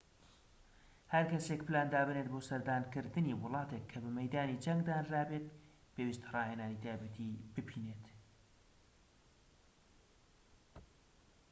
هەرکەسێك پلان دابنێت بۆ سەردانکردنی وڵاتێك کە بە مەیدانی جەنگ دانرابێت پێویستە ڕاهێنانی تایبەتیی بینیبێت